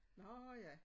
Nå ja